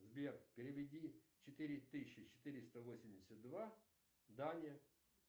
сбер переведи четыре тысячи четыреста восемьдесят два дане